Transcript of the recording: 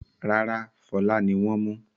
Rárá, Fọlá ni wọ́n mú.